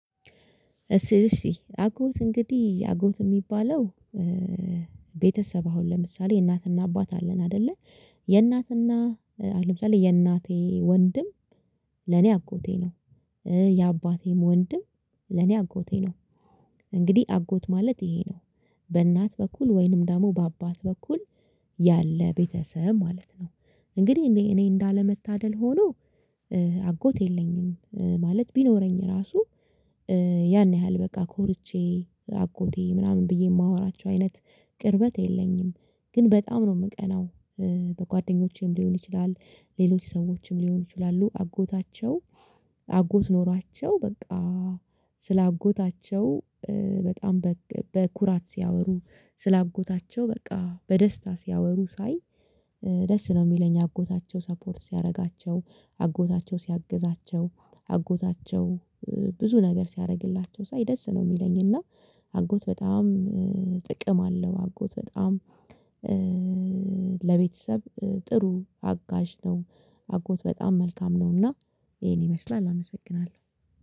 እሺ አጎት እንግዲህ አጎት የሚባለው ቤተሰብ አሁን ለምሳሌ እናትና አባት አለን አይደለ የእናትና አሁን ለምሳሌ የእናቴ ወንድም ለኔ አጎቴ ነው። የአባቴም ወንድም ለኔ አጎቴ ነው። እንግዲህ አጎት ማለት ይሄ ነው። በእናት በኩል ወይንም ደግሞ በአባት በኩል ያለ ቤተሰብ ማለት ነው። እንግዲህ እኔ እንዳለመታደል ሆኖ። አጎት የለኝም ማለት ቢኖረኝ ራሱ ያን ያህል በቃ ኮርቼ አጎቴ ምናምን ብዬ የማወራቸው አይነት ቅርበት የለኝም። ግን በጣም ነው የምቀናው። በጓደኞቼም ሊሆን ይችላል ሌሎች ሰዎችም ሊሆን ይችላሉ አጎታቸው። አጎት ኖሯቸው በቃ ስለ አጎታቸው በጣም በኩራት ሲያወሩ ስለ አጎታቸው በቃ በደስታ ሲያወሩ ሳይ። ደስ ነው የሚለኝ አጎታቸው ሰፖርት ሲያደርጋቸው አጎታቸው ሲያግዛቸው አጎታቸው ብዙ ነገር ሲያደርግላቸው ሳይ ደስ ነው የሚለኝ። እና አጎት በጣም ጥቅም አለው። አጎት በጣም ለቤተሰብ ጥሩ አጋዥ ነው። አጎት በጣም መልካም ነውና። ይሄን ይመስላል አመሰግናለሁ።